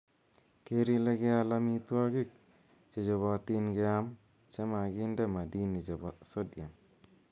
Geer ile keal amitwogik che chobotin keam chemaginde madini chepo sodiam.